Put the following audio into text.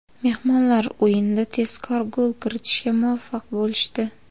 Mehmonlar o‘yinda tezkor gol kiritishga muvaffaq bo‘lishdi.